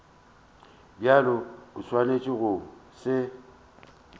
bjalo o swanetše go se